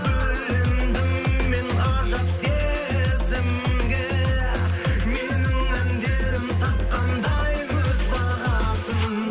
бөлендім мен ғажап сезімге менің әндерім тапқандай өз бағасын